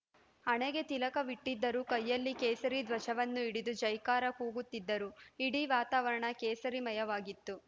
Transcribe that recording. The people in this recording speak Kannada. ಹಣೆಗೆ ತಿಲಕವಿಟ್ಟಿದ್ದರು ಕೈಯಲ್ಲಿ ಕೇಸರಿ ಧ್ವಜವನ್ನು ಹಿಡಿದು ಜೈಕಾರ ಕೂಗುತ್ತಿದ್ದರು ಇಡೀ ವಾತಾವರಣ ಕೇಸರಿಮಯವಾಗಿತ್ತು